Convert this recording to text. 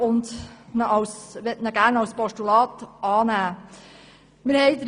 Sie möchte ihn gerne als Postulat annehmen.